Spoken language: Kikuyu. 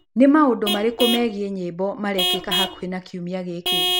Nĩ maũndũ marĩkũ megiĩ nyĩmbo marekĩka hakuhĩ na kiumia gĩkĩ